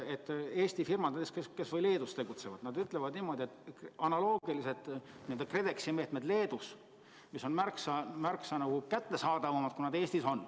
Eesti firmad, kes kas või Leedus tegutsevad, ütlevad niimoodi, et analoogilised n-ö KredExi meetmed Leedus on märksa kättesaadavamad, kui nad Eestis on.